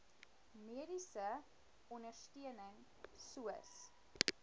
mediese ondersteuning soos